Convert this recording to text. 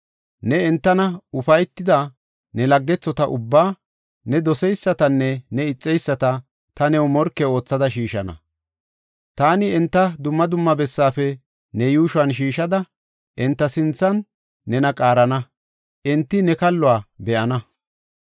ne entan ufaytida ne laggethota ubbaa, ne doseysatanne ne ixeyisata ta new morke oothada shiishana. Taani enta dumma dumma bessafe ne yuushuwan shiishada, enta sinthan nena qaarana; enti ne kalluwa be7ana.